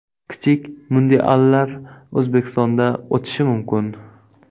Kichik mundiallar O‘zbekistonda o‘tishi mumkin.